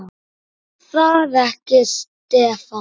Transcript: Er það ekki Stefán?